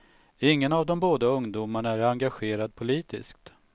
Ingen av de båda ungdomarna är engagerad politiskt.